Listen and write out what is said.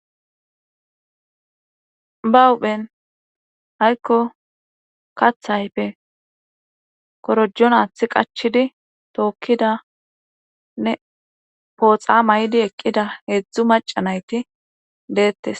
Ba uphen haykko kathayfe korojon aathi qachidi tookkidanne pooxa may7di eqqida heedzdzu maca nayti deettes